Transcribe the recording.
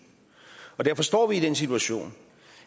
hvor derfor står vi i den situation